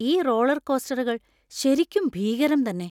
ഈ റോളർകോസ്റ്ററുകൾ ശരിക്കും ഭീകരം തന്നെ!